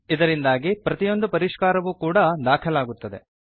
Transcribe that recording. ಇದರಿಂದಾಗಿ ಪ್ರತಿಯೊಂದು ಪರಿಷ್ಕಾರವೂ ಕೂಡಾ ದಾಖಲಾಗುತ್ತದೆ